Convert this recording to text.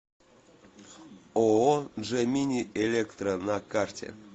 ооо джемини электро на карте